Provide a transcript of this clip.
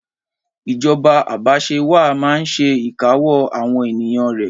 Ìjoba abàsẹwàá maa n se ìkáwó àwon ènìyàn rẹ